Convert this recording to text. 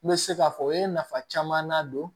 N bɛ se k'a fɔ u ye nafa caman na don